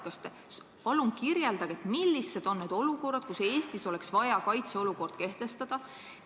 Kas te palun kirjeldaksite, millised on need situatsioonid, kus Eestis oleks vaja kaitseolukord kehtestada?